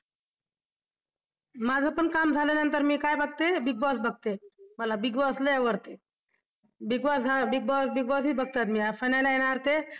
माझं पण काम झाल्यानंतर मी काय बघते Big Boss बघते. मला Big Boss लई आवडते. Big Boss Big Boss बघते मी finale येणार ते